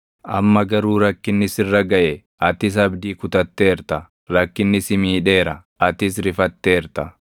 Amma garuu rakkinni sirra gaʼe; atis abdii kutatteerta; rakkinni si miidheera; atis rifatteerta;